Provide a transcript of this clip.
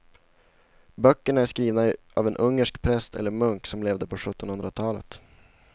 Böckerna är skrivna av en ungersk präst eller munk som levde på sjuttonhundratalet.